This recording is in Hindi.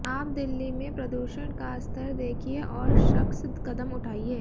आप दिल्ली में प्रदूषण का स्तर देखिए और सख्स कदम उठाइए